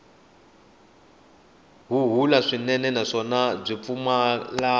huhula swinene naswona byi pfumala